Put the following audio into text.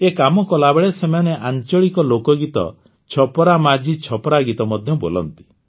ଏ କାମ କଲାବେଳେ ସେମାନେ ଆଂଚଳିକ ଲୋକଗୀତ ଛପରା ମାଝି ଛପରା ଗୀତ ମଧ୍ୟ ବୋଲନ୍ତି